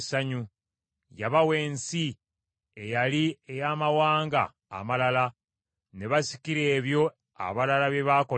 Yabawa ensi eyali ey’amawanga amalala, ne basikira ebyo abalala bye baakolerera;